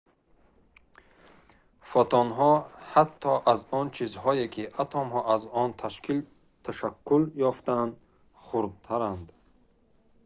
фотонҳо ҳатто аз он чизҳое ки атомҳо аз он ташаккул ёфтаанд хурдтаранд